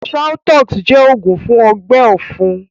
Shaltoux jẹ́ oògún fún ọgbẹ́ ọ̀fun